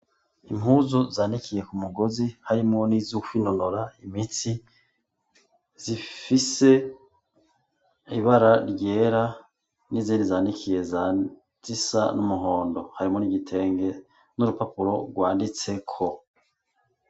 Impuzu zanikiye ku mugozi harimwo nizo kwinonora imitsi zifise ibara ryera n'izindi zanikiye zisa n'umuhondo harimwo n'igitenge n'urupapuro rwanditseko.